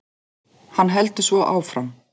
Hann heldur svo áfram